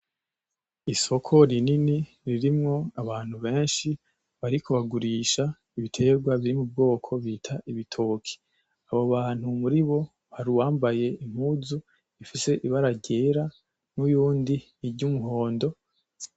Isoko rinini ririmwo abantu benshi bariko bagurisha ibiterwa biri m'ubwoko bita ibitoki, abo bantu muri bo hari uwambaye impuzu ifise ibara ryera nuyundi ry'umuhondo.